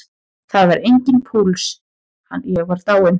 Það var enginn púls, ég var dáinn.